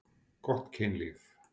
Gott kynlíf.